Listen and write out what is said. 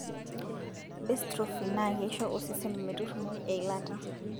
bestrophin naa keisho osesen meturumoi eilata